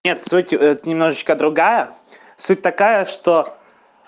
нет суть эта немножечко другая суть такая что